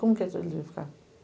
Como que ficar?